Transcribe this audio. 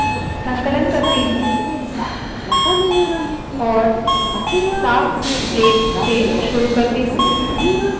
संकलन करती हूँ और साफ स्लेट से शुरू करती हूँ